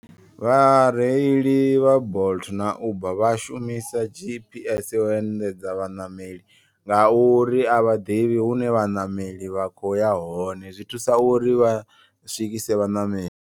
Vhareili vha bolt na uber vha shumisa G_P_S u endedza vhaṋameli. Nga uri a vhaḓivhi hune vhaṋameli vha khoya hone zwi thusa uri vha swikise vhaṋameli.